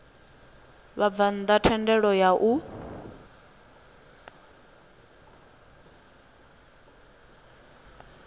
vhabvann ḓa thendelo ya u